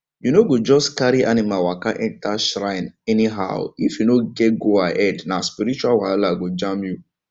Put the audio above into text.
you no go just carry animal waka enter shrine anyhowif you no get goahead na spiritual wahala go jam you